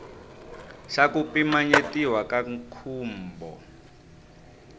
xa ku pimanyetiwa ka nkhumbo